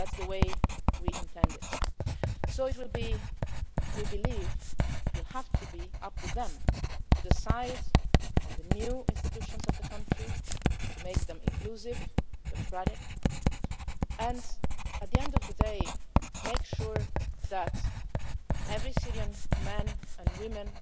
That is the way we intend it. We believe it will have to be up to them to decide on the new institutions of the country, to make them inclusive, democratic, and, at the end of the day, make sure that every Syrian